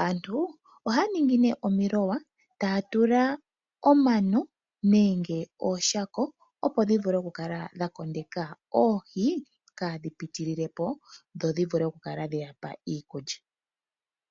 Aantu ohaya ningi mee omiloya taya tula omano nenge ooshako opo dhi vule okukala dha kondeka oohi kaadhi pitililepo dho dhivule okukala dhe yapa iikulya.